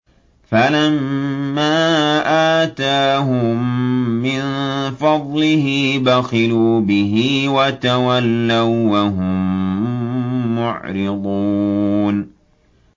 فَلَمَّا آتَاهُم مِّن فَضْلِهِ بَخِلُوا بِهِ وَتَوَلَّوا وَّهُم مُّعْرِضُونَ